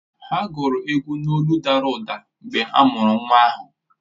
Ha gụrụ egwu n’olụ dara ụda mgbe a mụrụ nwa ahụ